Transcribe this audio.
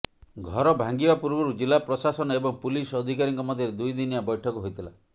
ଘର ଭାଙ୍ଗିବା ପୂର୍ବରୁ ଜିଲ୍ଲା ପ୍ରଶାସନ ଏବଂ ପୁଲିସ ଅଧିକାରୀଙ୍କ ମଧ୍ୟରେ ଦୁଇ ଦିନିଆ ବୈଠକ ହୋଇଥିଲା